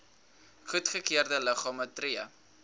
goedgekeurde liggame tree